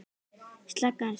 Slaka aðeins á.